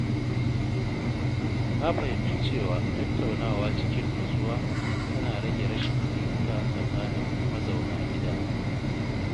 Na fahimci cewa tattaunawa cikin natsuwa tana rage rashin fahimta tsakanin mazauna gida.